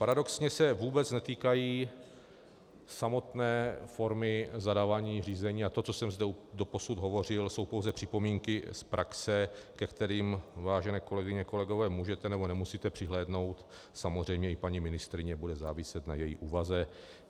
Paradoxně se vůbec netýkají samotné formy zadávání řízení a to, co jsem zde doposud hovořil, jsou pouze připomínky z praxe, ke kterým, vážené kolegyně, kolegové, můžete nebo nemusíte přihlédnout, samozřejmě i paní ministryně, bude záviset na její úvaze.